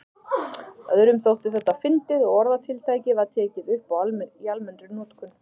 Öðrum þótti þetta fyndið og orðatiltækið var tekið upp í almennri notkun.